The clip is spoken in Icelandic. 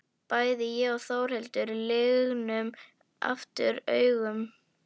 Bæði ég og Þórhildur lygnum aftur augunum.